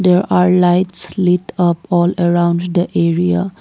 there are lights lit up all around the area.